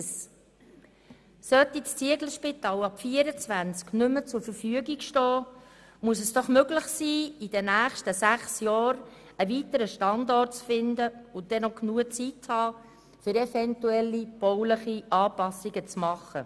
Sollte das Zieglerspital ab 2024 nicht mehr zur Verfügung stehen, muss es doch möglich sein, in den nächsten Jahren einen weiteren Standort zu finden mit genügend Zeit, um eventuelle baulichen Anpassungen zu machen.